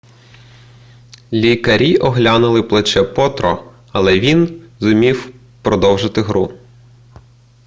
лікарі оглянули плече потро але він зумів продовжити гру